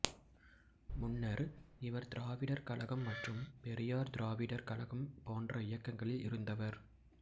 முன்னர் இவர் திராவிடர் கழகம் மற்றும் பெரியார் திராவிடர் கழகம் போன்ற இயக்கங்களில் இருந்தவர்